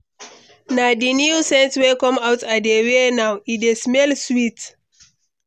Na di new scent wey come out i dey wear now, e dey smell sweet.